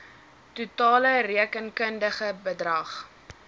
totale rekenkundige bedrag